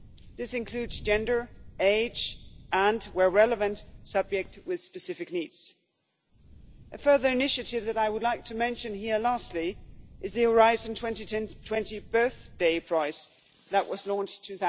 This includes gender, age, and, where relevant, subjects with specific needs. A further initiative that I would like to mention here is the Horizon 2020 Birth Day Prize that was launched